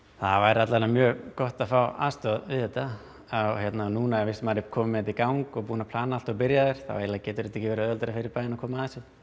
það væri alla vega mjög gott að fá aðstoð við þetta núna fyrst maður er kominn með þetta í gang og búinn að plana allt og byrjaður þá eiginlega gæti ekki verið auðveldara fyrir bæinn að koma að þessu